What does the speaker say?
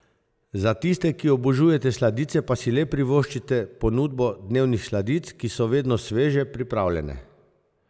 Za tiste, ki obožujete sladice pa si le privoščite ponudbo dnevnih sladic, ki so vedne sveže pripravljene.